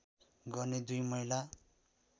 गर्ने दुई महिला